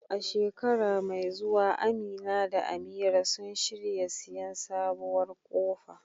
A shekara mai zuwa Amina da Amira sun shirya siyan sabuwar kofa